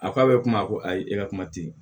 A ko a bɛ kuma ko ayi e ka kuma tɛ yen